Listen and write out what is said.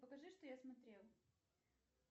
покажи что я смотрел